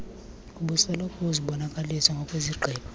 obusoloko uzibonakalisa ngokwezigqibo